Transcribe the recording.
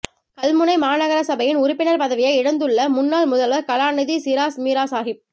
கல்முனை மாநகரசபையின் உறுப்பினர் பதவியை இழந்துள்ள முன்னாள் முதல்வர் கலாநிதி சிறாஸ் மீராசாஹிப்